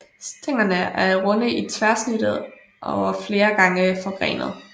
Stænglerne er runde i tværsnit og flere gange forgrenede